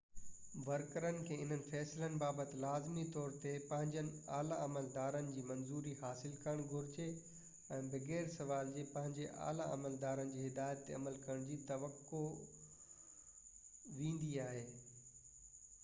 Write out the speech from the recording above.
ورڪرن کي انهن فيصلن بابت لازمي طور تي پنهنجن اعليٰ عملدارن جي منظوري حاصل ڪرڻ گهرجي ۽ بغير سوال جي پنهنجي اعليٰ عملدارن جي هدايت تي عمل ڪرڻ جي توقع ويندي آهي